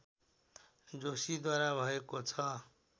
जोशीद्वारा भएको छ